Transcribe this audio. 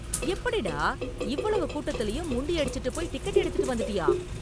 எப்படிடா, இவ்வளவு கூட்டத்துலயும் முண்டியடிச்சிட்டு போய் டிக்கெட் எடுத்துட்டு வந்துட்டியா?